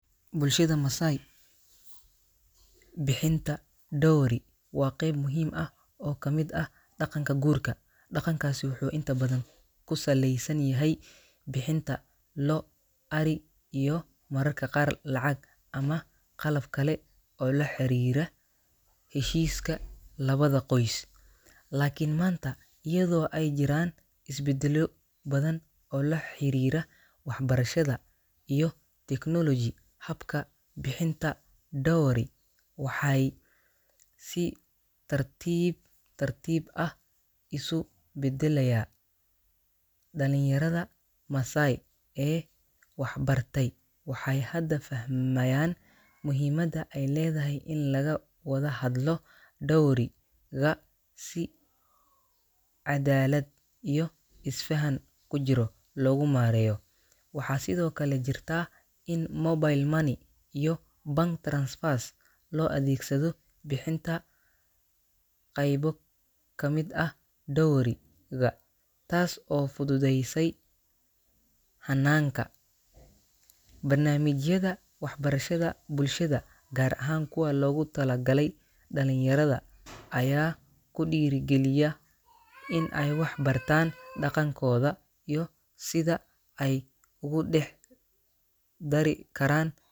Bulshada Masai, bixinta dowry waa qayb muhiim ah oo ka mid ah dhaqanka guurka. Dhaqankaasi wuxuu inta badan ku saleysan yahay bixinta lo’, ari, iyo mararka qaar lacag ama qalab kale oo la xariira heshiiska labada qoys. Laakiin maanta, iyadoo ay jiraan isbeddelo badan oo la xiriira waxbarashada iyo technology, habka bixinta dowry waxay si tartiib tartiib ah isu beddelaya. Dhalinyarada Masai ee waxbartay waxay hadda fahmayaan muhiimadda ay leedahay in laga wada hadlo dowry-ga si cadaalad iyo isfaham ku jiro loogu maareeyo. Waxaa sidoo kale jirta in mobile money iyo bank transfers loo adeegsado bixinta qaybo ka mid ah dowry-ga, taas oo fududeysay hannaanka. Barnaamijyada waxbarashada bulshada, gaar ahaan kuwa loogu talagalay dhalinyarada, ayaa ku dhiirrigeliya in ay wax ka bartaan dhaqankooda iyo sida ay ugu dhex dari karaan.